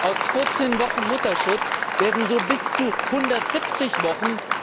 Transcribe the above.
Aus 14 Wochen Mutterschutz werden so bis zu 170 Wochen.